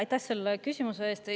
Aitäh selle küsimuse eest!